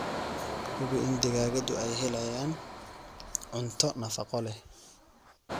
Hubi in digaagadu ay helayaan cunto nafaqo leh.